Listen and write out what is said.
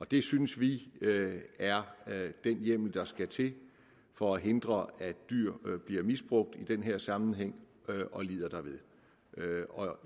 det synes vi er den hjemmel der skal til for at hindre at dyr bliver misbrugt i den her sammenhæng og lider derved